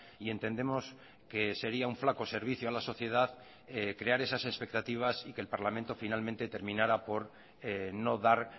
y entendemos que sería un flaco servicio a la sociedad crear esas expectativas y que el parlamento finalmente terminara por no dar